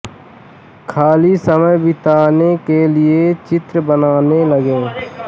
ख़ाली समय बिताने के लिए चित्र बनाने लगे